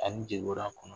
Ani jeboran kɔnɔ